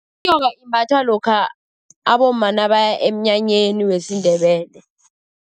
Inyoka imbathwa lokha abomma nabaya emnyanyeni wesiNdebele.